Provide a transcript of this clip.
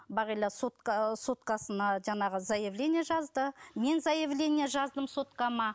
бағила соткасына жаңағы заявление жазды мен заявление жаздым соткама